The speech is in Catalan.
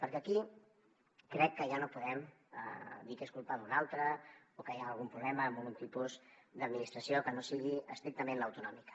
perquè aquí crec que ja no podem dir que és culpa d’un altre o que hi ha algun problema en algun tipus d’administració que no sigui estrictament l’autonòmica